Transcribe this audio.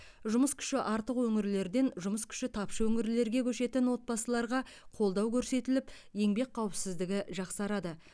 жұмыс күші артық өңірлерден жұмыс күші тапшы өңірлерге көшетін отбасыларға қолдау көрсетіліп еңбек қауіпсіздігі жақсарады